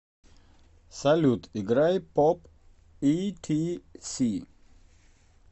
салют играй поп итиси